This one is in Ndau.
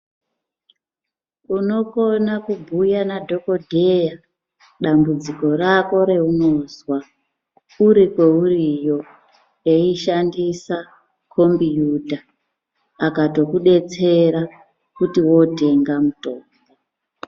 Unogona kubhuya nadhogodheya dambudziko rako reunozwa, uri kweuriyo, eishandisa kombiyuta akatokudetsera kuti wotenga mutombo.